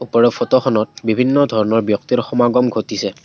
ওপৰৰ ফটোখনত বিভিন্ন ধৰণৰ ব্যক্তিৰ সমাগম ঘটিছে।